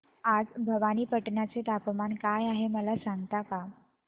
आज भवानीपटना चे तापमान काय आहे मला सांगता का